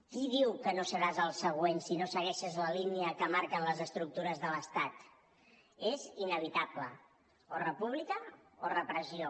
qui diu que no seràs el següent si no segueixes la línia que marquen les estructures de l’estat és inevitable o república o repressió